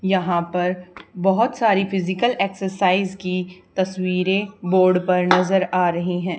यहां पर बहुत सारी फिजिकल एक्सरसाइज की तस्वीरें बोर्ड पर नज़र आ रही हैं।